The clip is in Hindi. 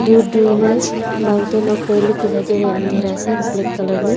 दूर दूर में माउंटेन और पेड़ लोग दिखाई दे रहे हैं अंधेरा से ब्लैक कलर में।